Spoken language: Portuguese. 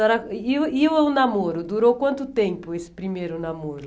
dona... E o e o namoro, durou quanto tempo esse primeiro namoro?